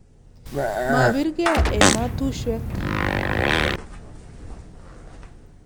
mabirgei ematushwek